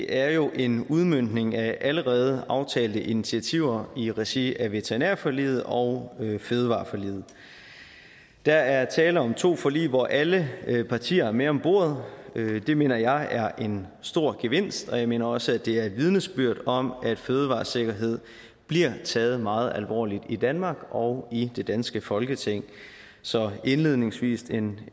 er jo en udmøntning af allerede aftalte initiativer i regi af veterinærforliget og fødevareforliget der er tale om to forlig hvor alle partier er med om bordet det mener jeg er en stor gevinst og jeg mener også at det er et vidnesbyrd om at fødevaresikkerheden bliver taget meget alvorligt i danmark og i det danske folketing så indledningsvis en